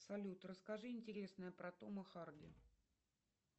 салют расскажи интересное про тома харди